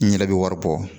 N yɛrɛ bɛ wari bɔ